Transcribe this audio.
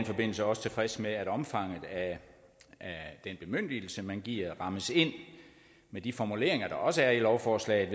forbindelse også tilfreds med at omfanget af den bemyndigelse man giver rammes ind af de formuleringer der også er i lovforslaget